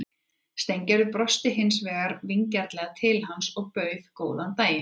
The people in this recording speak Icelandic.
Steingerður brosti hins vegar vingjarnlega til hans og bauð góðan daginn.